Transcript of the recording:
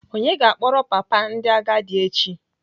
Onye ga-akpọrọ papa ndị agadi echi?